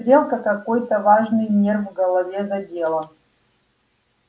стрелка какой-то важный нерв в голове задела